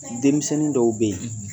Denmisɛnnin dɔw bɛ ye